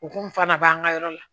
O kun fana b'an ka yɔrɔ la